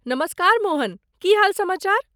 नमस्कार मोहन, की हाल समाचार?